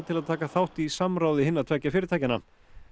til að taka þátt í samráði hinna tveggja fyrirtækjanna